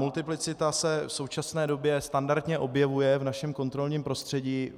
Multiplicita se v současné době standardně objevuje v našem kontrolním prostředí